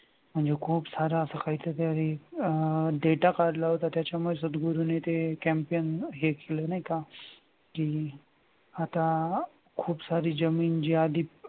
म्हणजे खूप सारा असं काहीतरी अह data काढला होता त्याच्यामुळे सद्गुरुने ते campaign केलं नाही का के आता खूप सारी जमीन जी आधी